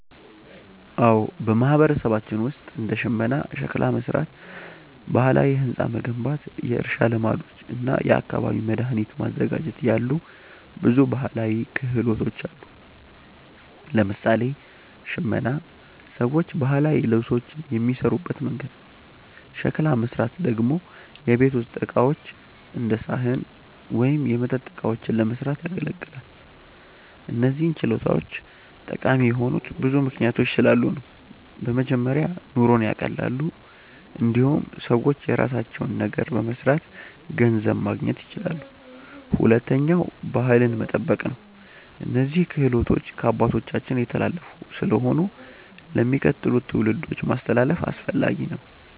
አዎ፣ በማህበረሰባችን ውስጥ እንደ ሽመና፣ ሸክላ መሥራት፣ ባህላዊ ሕንፃ መገንባት፣ የእርሻ ልማዶች እና የአካባቢ መድኃኒት ማዘጋጀት ያሉ ብዙ ባህላዊ ክህሎቶች አሉ። ለምሳሌ ሽመና ሰዎች ባህላዊ ልብሶችን የሚሠሩበት መንገድ ነው። ሸክላ መሥራት ደግሞ የቤት ውስጥ ዕቃዎች እንደ ሳህን ወይም የመጠጥ እቃዎችን ለመስራት ያገለግላል። እነዚህ ችሎታዎች ጠቃሚ የሆኑት ብዙ ምክንያቶች ስላሉ ነው። በመጀመሪያ ኑሮን ያቀላሉ። እንዲሁም ሰዎች የራሳቸውን ነገር በመስራት ገንዘብ ማግኘት ይችላሉ። ሁለተኛ ባህልን መጠበቅ ነው፤ እነዚህ ክህሎቶች ከአባቶቻችን የተላለፉ ስለሆኑ ለሚቀጥሉት ትውልዶች ማስተላለፍ አስፈላጊ ነው።